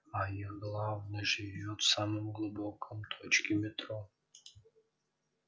а их главный живёт в самой глубокой точке метро